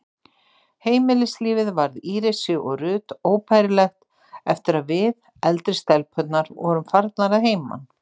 Heimilislífið varð Írisi og Ruth óbærilegt eftir að við, eldri stelpurnar, vorum farnar að heiman.